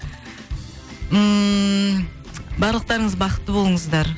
ммм барлықтарыңыз бақытты болыңыздар